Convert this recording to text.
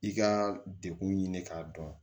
I ka dekun ɲini k'a dɔn